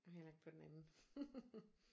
Og heller ikke på den anden